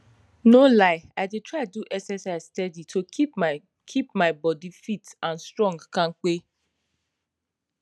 no lie i dey try do exercise steady to keep my keep my bodi fit and strong kampe